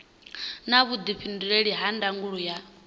na vhuifhinduleli ha ndangulo ya